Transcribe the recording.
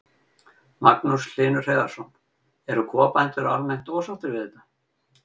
Magnús Hlynur Hreiðarsson: Eru kúabændur almennt ósáttir við þetta?